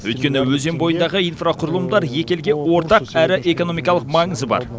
өйткені өзен бойындағы инфрақұрылымдар екі елге ортақ әрі экономикалық маңызы бар